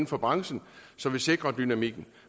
for branchen så vi sikrer dynamikken